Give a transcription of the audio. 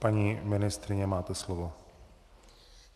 Paní ministryně, máte slovo.